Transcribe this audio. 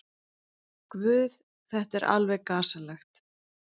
Guð, þetta er alveg gasalegt.